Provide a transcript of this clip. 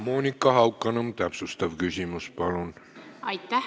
Monika Haukanõmm, täpsustav küsimus, palun!